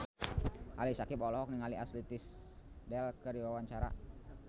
Ali Syakieb olohok ningali Ashley Tisdale keur diwawancara